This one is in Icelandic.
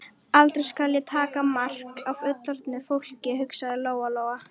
Aldrei skal ég taka mark á fullorðnu fólki, hugsaði Lóa Lóa.